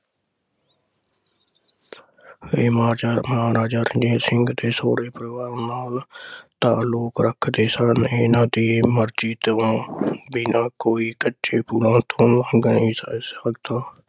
ਮਹਾਰਾਜਾ ਰਣਜੀਤ ਸਿੰਘ ਦੇ ਸਹੁਰੇ ਪਰਿਵਾਰ ਨਾਲ ਤਾਲੁਕ ਰੱਖਦੇ ਸਨ । ਇਹ ਦੀ ਮਰਜੀ ਤੋਂ ਦੇ ਨਾਲ ਕੋਈ ਕੱਚੇ ਪੁੱਲਾਂ ਤੋਂ ਗਏ ਨਹੀਂ ਸੰ ਸਕਦਾ ।